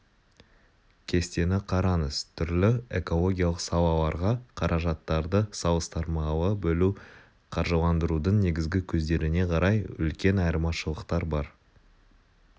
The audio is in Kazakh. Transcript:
кестені қараңыз түрлі экологиялық салаларға қаражаттарды салыстырмалы бөлу қаржыландырудың негізгі көздеріне қарай үлкен айырмашылықтар бар